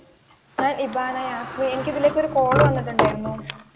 ഞാൻ ഇബാന ജാസ്മിന് എനിക്ക് ഇതിലേക്ക് ഒരു കാൾ വന്നിട്ടുണ്ടായിരുന്നു.